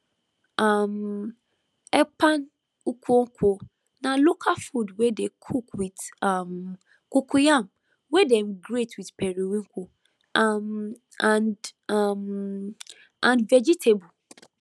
um [ekpan] [nkukwo] na local food wey dey cook with um cocoyam wey dem grate with periwinkle um and um and vegetable